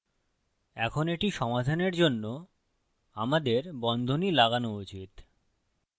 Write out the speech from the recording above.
এখন এটি সমাধানের জন্য আমাদের বন্ধনী লাগানো উচিত